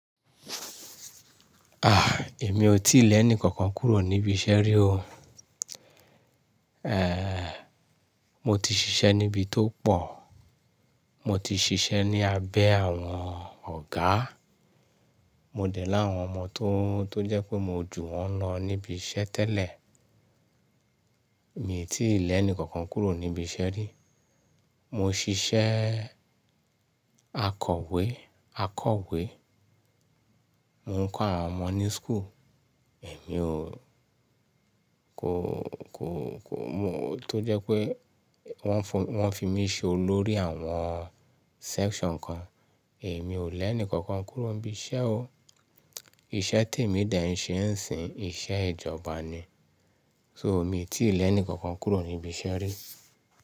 Èmi ò tíì lè ẹ́ni kankan kúrò níbi iṣẹ́ rí o. Mo ti ṣiṣẹ́ níbi tó pọ̀, mo ti ṣiṣẹ́ ní abẹ́ àwọn ọ̀gá, mo dè láwọn ọmọ tó, tó jẹ́ pé mo jù wọ́n lọ níbi iṣẹ́ tẹ́lẹ̀. Èmi tí lẹ́ni kankan kúrò níbi iṣẹ́ rí. Mo ṣiṣẹ́ akọ̀wé, akọ̀wé. Mo ń kọ́ àwọn ọmọ ní school, èmi ò, kò, kò, kò, mo, tó jẹ́ pé wọ́n fún, wọ́n fi mí ṣe olórí àwọn section kan. Èmi ò lẹ́ni kankan kúrò níbi iṣẹ́ o. Ìṣẹ́ tèmi dà n ṣe ń sìn, iṣẹ́ ìjọba ni. So èmi tí lẹ́ni kankan kúrò níbi iṣẹ́ rí.